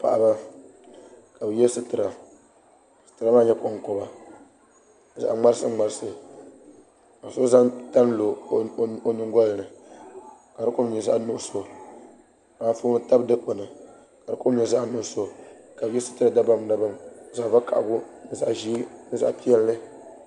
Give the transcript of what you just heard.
Paɣaba ka bi yɛ situra koŋkoba zaɣŋmarisiŋmarisi ka so zaŋ tani n lo o nyongolini ka di kom nyɛ zaɣ'nuɣso ka anfooni tabi dikpuni ka di kom nyɛ zaɣ'nuɣso ka bi yɛ situra dabam dabam zaɣ'ʒiɛ zaɣ'gakaɣili ni zaɣ'piɛlli